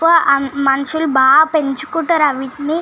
So మనుషుల్లు బాగా పెంచుకుంటారు ఇవతిని.